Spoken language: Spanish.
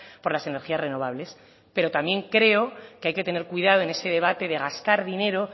por las energías renovables pero también creo que hay que tener cuidado en ese debate de gastar dinero